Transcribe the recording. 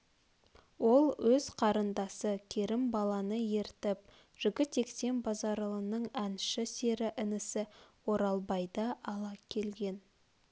ол өз қарындасы кермбаланы ертіп жігітектен базаралының әнші сері інісі оралбайды ала келген